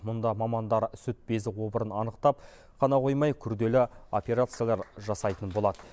мұнда мамандар сүт безі обырын анықтап қана қоймай күрделі операциялар жасайтын болады